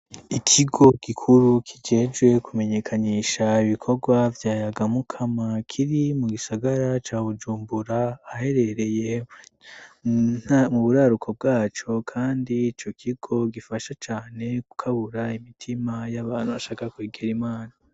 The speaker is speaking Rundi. ikigo gikuru kijejwe kumenyekanisha ibikorwa vya yagamukama, kiri mu gisagara ca bujumbura ahaherereye mu buraruko bwaco, kandi ico kigo gifasha cane gukabura imitima y'abantu bashaka kwegera imana.